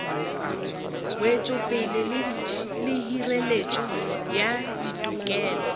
wetšopele le hireletšo ya ditokelo